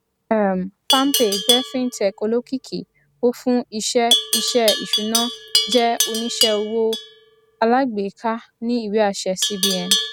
um palmpay jẹ fintech olókìkí ó fún iṣẹ iṣẹ ìṣùná jẹ oníṣẹ owó alágbèéká ní ìwé àṣẹ cbn